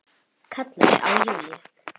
Kallaði á Júlíu.